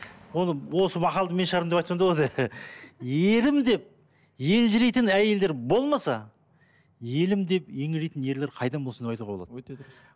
оны осы мақалды мен шығардым деп айтсам да болады ерім деп елжірейтін әйелдер болмаса елім деп еңірейтін ерлер қайдан болсын деп айтуға болады өте дұрыс